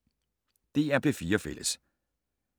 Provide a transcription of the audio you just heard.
DR P4 Fælles